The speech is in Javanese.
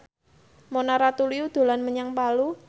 Mona Ratuliu dolan menyang Palu